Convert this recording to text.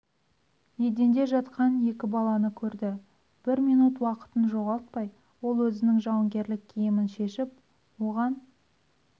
еденде жатқан екі баланы көрді бір минут уақытын жоғалтпай ол өзінің жауынгерлік киімін шешіп оған